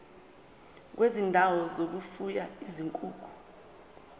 kwezindawo zokufuya izinkukhu